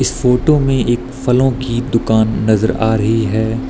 इस फोटो में एक फलों की दुकान नजर आ रही है।